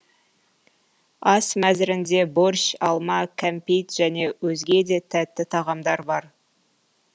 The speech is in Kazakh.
ас мәзірінде борщ алма кәмпит және өзге де тәтті тағамдар бар